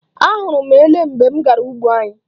Ahụrụ m ele mgbe m gara ugbo anyị.